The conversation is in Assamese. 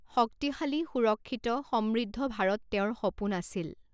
শক্তিশালী, সুৰক্ষিত, সমৃৃদ্ধ ভাৰত তেওঁৰ সপোন আছিল।